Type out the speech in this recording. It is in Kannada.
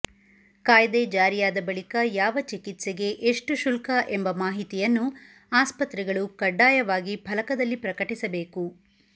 ಕಾಯ್ದೆ ಜಾರಿಯಾದ ಬಳಿಕ ಯಾವ ಚಿಕಿತ್ಸೆಗೆ ಎಷ್ಟು ಶುಲ್ಕ ಎಂಬ ಮಾಹಿತಿಯನ್ನು ಆಸ್ಪತ್ರೆಗಳು ಕಡ್ಡಾಯವಾಗಿ ಫಲಕದಲ್ಲಿ ಪ್ರಕಟಿಸಬೇಕು